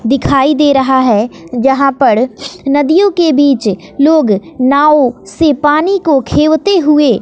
दिखाई दे रहा है जहां पर नदियों के बीच लोग नाव से पीनी को खेवते हुए--